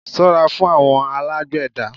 Ṣó ra fún àwọn alágbèédá